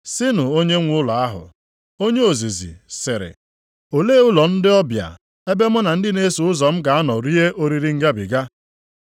Sịnụ onyenwe ụlọ ahụ, ‘Onye ozizi sịrị, Olee ụlọ ndị ọbịa ebe mụ na ndị na-eso ụzọ m ga-anọ rie oriri Ngabiga?’